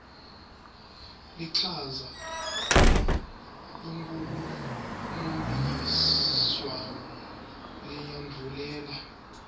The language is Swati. lichaza kunkhulumomphikiswano leyandvulela